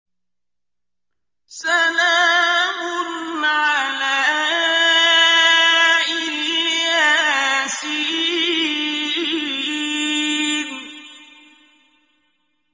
سَلَامٌ عَلَىٰ إِلْ يَاسِينَ